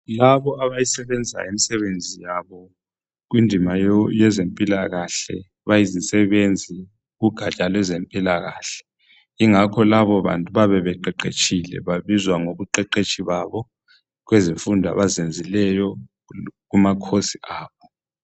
Labo abayisebenzayo imisebenzi yabo, kundima yezempilakahle. Bayizisebenzi kugaja lwezempilakahle. Ingakho labobantu, bayabe beqeqetshile. Babizwa ngokuqeqetsha kwabo. Kuzifundo abazenzileyo, kumacourse abo.